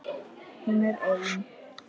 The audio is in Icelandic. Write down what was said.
Hún er ein.